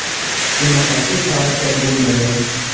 Bunaqasi tarixda bo‘lmagan.